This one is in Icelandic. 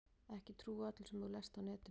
Ekki trúa öllu sem þú lest á netinu.